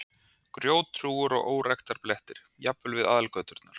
Grjóthrúgur og óræktarblettir, jafnvel við aðalgöturnar.